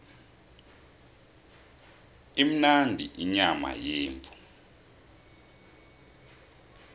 imnandi inyama yemvu